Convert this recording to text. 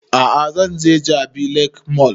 A'a zan je jabi lake mall